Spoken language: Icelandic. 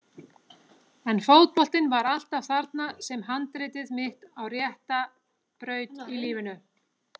En fótboltinn var alltaf þarna sem handritið mitt á rétta braut í lífinu.